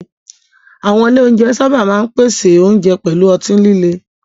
Àwọn ilé oúnjẹ sábà máa ń pèsè oúnjẹ pẹ̀lú ọtí líle.